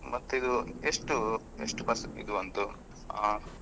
ಮತ್ತೆ ಇದು ಎಷ್ಟು ಎಷ್ಟು percent ಇದು ಬಂತು ಅಹ್?